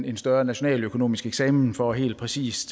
en større nationaløkonomisk eksamen for helt præcis